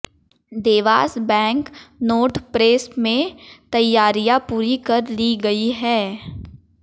Dewas bank note press में में तैयारियां पूरी कर ली गई हैं